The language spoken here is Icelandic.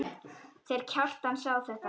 Þeir Kjartan sjá þetta.